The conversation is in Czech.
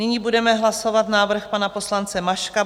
Nyní budeme hlasovat návrh pana poslance Maška.